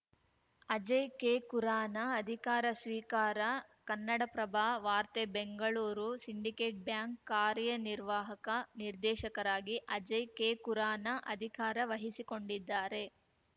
ಅಜಯ್‌ ಕೆಕುರಾನ ಅಧಿಕಾರ ಸ್ವೀಕಾರ ಕನ್ನಡಪ್ರಭ ವಾರ್ತೆ ಬೆಂಗಳೂರು ಸಿಂಡಿಕೇಟ್‌ ಬ್ಯಾಂಕ್‌ ಕಾರ್ಯ ನಿರ್ವಾಹಕ ನಿರ್ದೇಶಕರಾಗಿ ಅಜಯ್‌ ಕೆ ಕುರಾನ ಅಧಿಕಾರ ವಹಿಸಿಕೊಂಡಿದ್ದಾರೆ